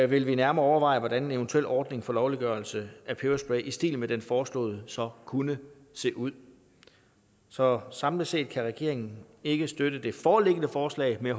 vil vi nærmere overveje hvordan en eventuel ordning for lovliggørelse af peberspray i stil med den foreslåede så kunne se ud så samlet set kan regeringen ikke støtte det foreliggende forslag men